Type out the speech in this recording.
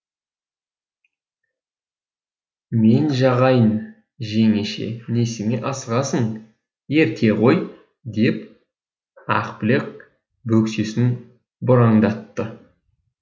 мен жағайын жеңеше несіне асығасың ерте ғой деп ақбілек бөксесін бұраңдатты